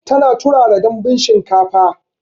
Tana turara Danbun shinkafar